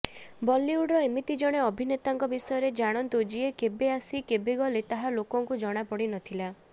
ବଲିଉଡର ଏମିତି ଜଣେ ଅଭିନେତାଙ୍କ ବିଷୟରେ ଜାଣନ୍ତୁ ଯିଏ କେବେ ଆସି କେବେ ଗଲେ ତାହା ଲୋକଙ୍କୁ ଜଣାପଡିନଥିଲା